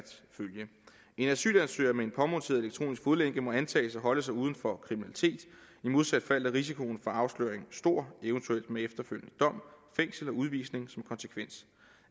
følge en asylansøger med en påmonteret elektronisk fodlænke må antages at holde sig uden for kriminalitet i modsat fald er risikoen for afsløring stor eventuelt med efterfølgende dom fængsel og udvisning som konsekvens